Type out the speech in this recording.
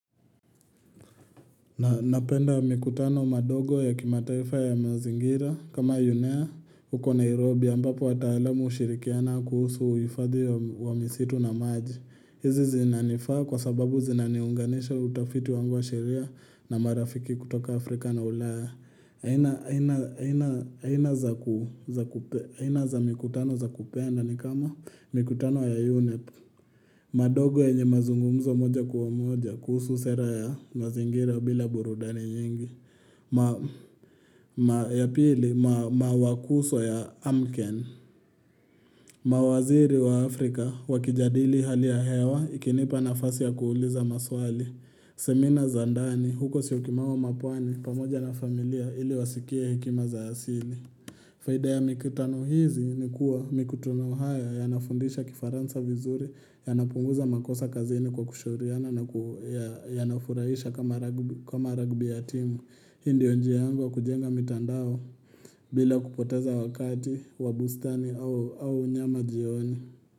Napenda mikutano madogo ya kimataifa ya mazingira kama unea huko Nairobi ambapo wataalamu hushirikiana kuhusu uhifadhi wa misitu na maji. Hizi zinanifaa kwa sababu zinaniunganisha utafiti wangu wa sheria na marafiki kutoka Afrika na ulaya. Aina aina za mikutano za kupenda ni kama mikutano ya UNEP. Madogo yenye mazungumzo moja kwa moja kuhusu sera ya mazingira bila burudani nyingi. Ma ya pili ma mawakuso ya Amken. Mawaziri wa Afrika wakijadili hali ya hewa ikinipa nafasi ya kuuliza maswali. Semina za ndani, huko syokimau au mapwani pamoja na familia ili wasikie hekima za asili. Faida ya mikutano hizi ni kuwa mikutano haya yanafundisha kifaransa vizuri, yanapunguza makosa kazini kwa kushauriana na yanafurahisha kama ragbi ya timu. Hii ndiyo njia yangu ya kujenga mitandao bila kupoteza wakati wa bustani au au nyama jioni.